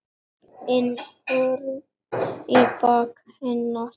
inn horn í baki hennar.